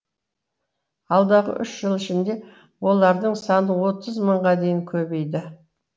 алдағы үш жыл ішінде олардың саны отыз мыңға дейін көбейді